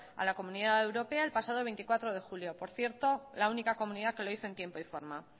a la comunidad europea el pasado veinticuatro de julio por cierto la única comunidad que lo hizo en tiempo y forma